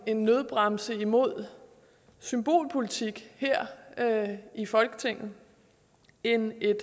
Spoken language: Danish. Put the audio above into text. en nødbremse imod symbolpolitik her i folketinget end vi